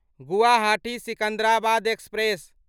Guwahati Secunderabad express